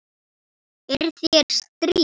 Er þér strítt?